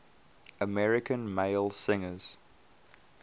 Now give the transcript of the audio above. american male singers